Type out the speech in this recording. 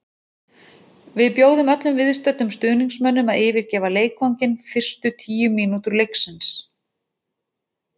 Við bjóðum öllum viðstöddum stuðningsmönnum að yfirgefa leikvanginn fyrstu tíu mínútur leiksins.